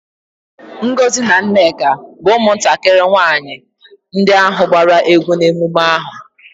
Ngozi na Nneka bu umuntakiri nwanyi ndi ahu gbara egwu n'emume aha.